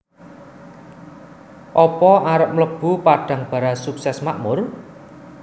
Opo arep mlebu Padangbara Sukses Makmur?